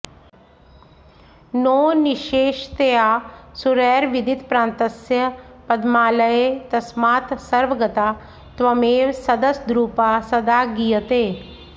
नो निश्शेषतया सुरैरविदितप्रान्तस्य पद्मालये तस्मात् सर्वगता त्वमेव सदसद्रूपा सदा गीयते